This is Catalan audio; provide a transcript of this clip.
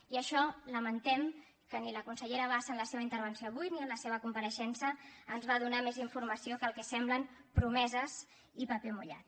i això lamentem que la consellera bassa en la seva intervenció avui ni en la seva compareixença ens va donar més informació que el que semblen promeses i paper mullat